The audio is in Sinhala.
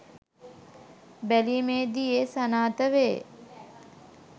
බැලීමේදී එය සනාථ වේ